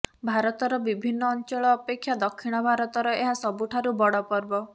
ଭାରତର ବିଭିନ୍ନ ଅଞ୍ଚଳ ଅପେକ୍ଷା ଦକ୍ଷିଣ ଭାରତର ଏହା ସବୁଠାରୁ ବଡ଼ ପର୍ବ